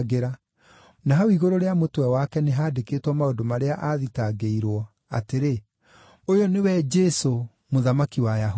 Na hau igũrũ rĩa mũtwe wake, nĩhandĩkĩtwo maũndũ marĩa aathitangĩirwo, atĩrĩ: ŨYŨ NĨWE JESŨ, MŨTHAMAKI WA AYAHUDI.